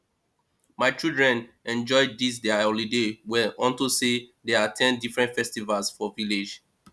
my children enjoy dis their holiday well unto say dey at ten d different festivals for village